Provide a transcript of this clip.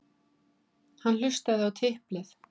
Hann hlustaði á tiplið.